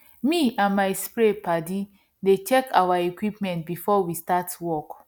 me and my spray padi dey check our equipment before we start work